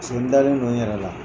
Paseke n dalen don n yɛrɛ la.